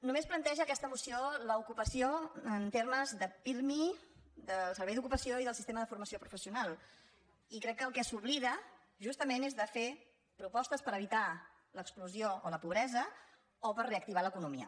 només planteja aquesta moció l’ocupació en termes de pirmi del servei d’ocupació i del sistema de formació professional i crec que del que s’oblida justament és de fer propostes per evitar l’exclusió o la pobresa o per reactivar l’economia